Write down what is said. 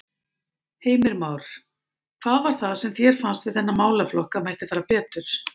Heimir Már: Hvað var það sem þér fannst við þennan málaflokk að mætti fara betur?